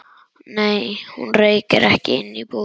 Nei, hún reykir ekki inni í búðinni.